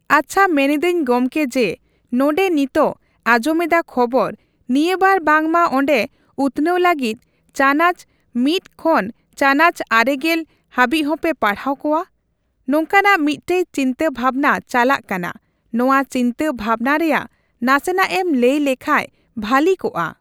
ᱟᱪᱪᱷᱟ ᱢᱮᱱᱮᱫᱟᱹᱧ ᱜᱚᱝᱠᱮ ᱡᱮ, ᱱᱚᱸᱰᱮ ᱱᱤᱛᱚᱜ ᱟᱸᱡᱚᱢ ᱮᱫᱟ ᱠᱷᱚᱵᱚᱨ ᱱᱤᱭᱟᱹᱵᱟᱨ ᱵᱟᱝᱢᱟ ᱚᱸᱰᱮ ᱩᱛᱱᱟᱹᱣ ᱞᱟᱹᱜᱤᱫ ᱪᱟᱱᱟᱪ ᱢᱤᱛ ᱠᱷᱚᱱ ᱪᱟᱱᱟᱪ ᱟᱨᱮ, ᱜᱮᱞ, ᱦᱟᱹᱵᱤᱡ ᱦᱚᱸᱯᱮ ᱯᱟᱲᱦᱟᱣ ᱠᱚᱣᱟ᱾ ᱱᱚᱝᱠᱟᱱᱟᱜ ᱢᱤᱫᱴᱮᱡ ᱪᱤᱱᱛᱟᱹ ᱵᱷᱟᱵᱱᱟ ᱪᱟᱞᱟᱜ ᱠᱟᱱᱟ᱾ ᱱᱚᱣᱟ ᱪᱤᱱᱛᱟᱹ ᱵᱷᱟᱵᱱᱟ ᱨᱮᱭᱟᱜ ᱱᱟᱥᱮᱱᱟᱜ ᱮᱢ ᱞᱟᱹᱭ ᱞᱮᱠᱷᱟᱡ ᱵᱷᱟᱹᱞᱤ ᱠᱚᱜᱼᱟ᱾